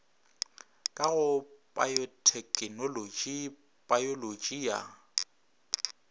ka go payothekenolotši payolotši ya